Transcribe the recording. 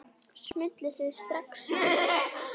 Smulluð þið strax saman?